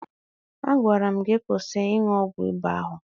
A gwara m gi kwụsị ịṅụ ọgwụ ịba ahụ